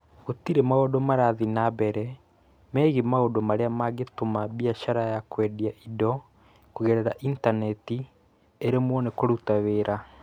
Gũtirĩ maũndũ marathiĩ na mbere megiĩ maũndũ marĩa mangĩtũma biacara ya kwendia indo kũgerera intaneti ĩremwo nĩ kũruta wĩra